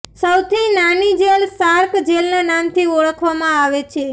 સૌથી નાની જેલ સાર્ક જેલના નામથી ઓળખવામાં આવે છે